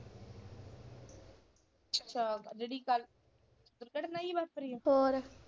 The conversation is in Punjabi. ਅੱਛਾ ਜਿਹੜੀ ਕੱਲ ਘਟਨਾ ਜੀ ਵਾਪਰੀ ਆ ਹੋਰ।